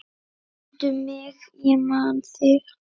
Mundu mig ég man þig.